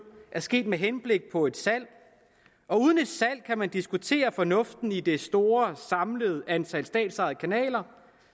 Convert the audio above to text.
er sket med henblik på et salg og uden et salg kan man diskutere fornuften i det store samlede antal statsejede kanaler